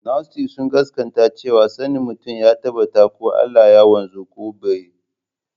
Gnostics sun gaskata cewa sanin mutum ya tabbata ko Allah ya wanzu ko babu.